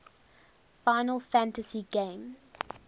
final fantasy games